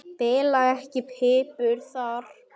Bila ekki pípur þar.